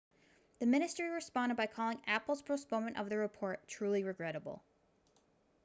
the ministry responded by calling apple's postponement of the report truly regrettable